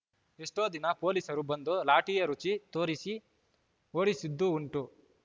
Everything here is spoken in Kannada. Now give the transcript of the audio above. ಎಷ್ಟೋ ದಿನ ಪೊಲೀಸರು ಬಂದು ಲಾಠಿಯ ರುಚಿ ತೋರಿಸಿ ಓಡಿಸಿದ್ದೂ ಉಂಟು